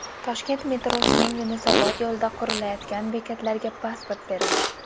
Toshkent metrosining Yunusobod yo‘lida qurilayotgan bekatlarga pasport berildi .